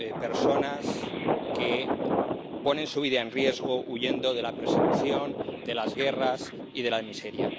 personas que ponen su vida en riesgo huyendo de la persecución, de las guerras y de la miseria.